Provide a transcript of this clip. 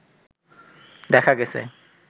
দেখা গেছে